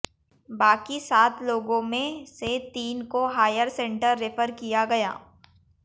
बाकी सात लोगों में से तीन को हायर सेंटर रेफर किया गया